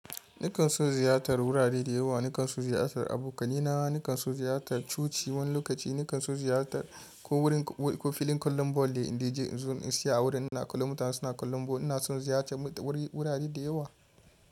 Nakan son ziyartar gurare da yawa, nakan so ziyartar abokanai na, nakan so ziyartar coci wani lokaci, nakan son ziyartar ko gurin ko filin ƙwallon bal ne zan je in tsaya a gurin ina kallon mutane suna kallon bal. Ina son ziyarta wurare da yawa.